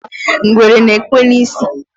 ngwere na-ekwe n'isi